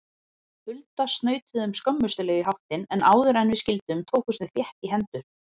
Hulda snautuðum skömmustuleg í háttinn, en áðuren við skildum tókumst við þétt í hendur.